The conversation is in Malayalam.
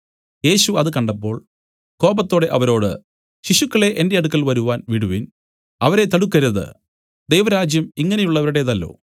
യേശു അത് കണ്ടപ്പോൾ കോപത്തോടെ അവരോട് ശിശുക്കളെ എന്റെ അടുക്കൽ വരുവാൻ വിടുവിൻ അവരെ തടുക്കരുത് ദൈവരാജ്യം ഇങ്ങനെയുള്ളവരുടേതല്ലോ